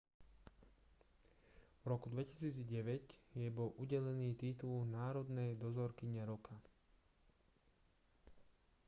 v roku 2009 jej bol udelený titul národnej dozorkyne roka